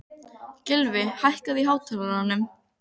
Gylfi, hækkaðu í hátalaranum.